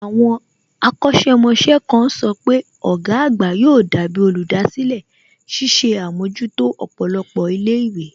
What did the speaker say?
Àwọn akọ̀sẹ̀ mọṣẹ́ kan sọ pé ọ̀gá àgbà yóò dàbí olùdásílẹ̀, ṣiṣẹ́ àmójútó ọ̀pọ̀lọpọ̀ ilé ìwé